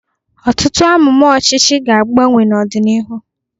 Ọtụtụ amụma ọchịchị ga-agbanwe n'ọdịnihu.